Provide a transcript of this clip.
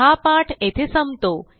हा पाठ येथे संपतो